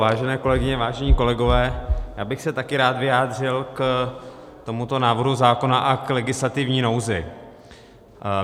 Vážené kolegyně, vážení kolegové, já bych se taky rád vyjádřil k tomuto návrhu zákona a k legislativní nouzi.